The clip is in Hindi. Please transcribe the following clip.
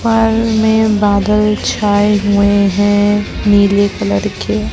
पर में बादल छाए हुए हैं नीले कलर के।